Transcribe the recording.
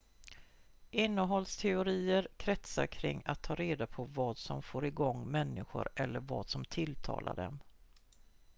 innehållsteorier kretsar kring att ta reda på vad som får igång människor eller vad som tilltalar dem